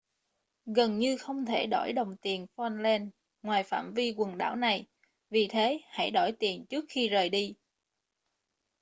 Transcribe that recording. gần như không thể đổi đồng tiền falkland ngoài phạm vi quần đảo này vì thế hãy đổi tiền trước khi rời đi